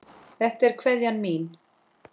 Þetta er kveðjan mín.